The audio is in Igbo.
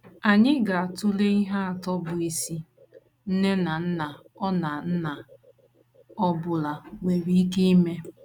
Anyị ga - atụle ihe atọ bụ́ isi nne na nna ọ na nna ọ bụla nwere ike ime.